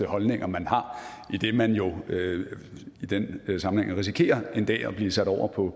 holdninger man har idet man jo i den sammenhæng risikerer en dag at blive sat over på